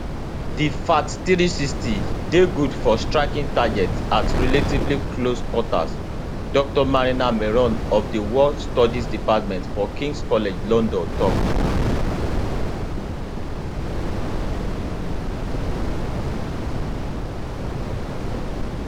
di fath360 dey good for striking targets at relatively close quarters dr marina miron of di war studies department for kings college london tok